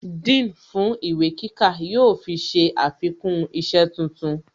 Dean fún ìwé kíkà yóò fi ṣe àfikún isẹ́ tuntun